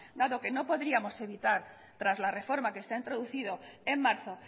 dado que no podríamos evitar tras la reforma que se ha introducido en marzo